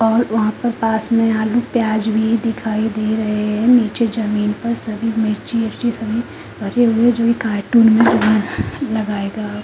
और वहाँ पर पास में आलू प्याज़ भी दिखाई दे रहे है नीचे जमीन पर सभी मिर्ची विरचि सभी भरे हुए है जो ये कार्टून में लगा एगा।